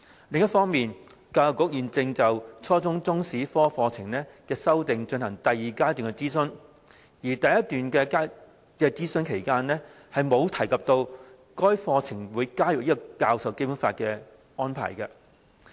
另一方面，教育局現正就初中中史科課程的修訂進行第二階段諮詢，而在第一階段諮詢期間沒有提及該課程會加入教授《基本法》的安排。